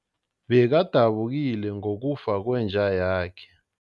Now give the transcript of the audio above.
Bekadabukile ngokufa kwenja yakhe.